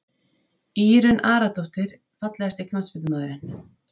Írunn Aradóttir Fallegasti knattspyrnumaðurinn?